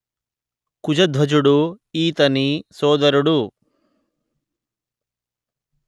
కుశధ్వజుడు ఈతని సోదరుడు